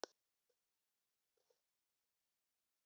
Karlotta